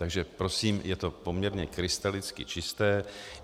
Takže prosím, je to poměrně krystalicky čisté.